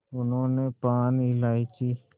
उन्होंने पान इलायची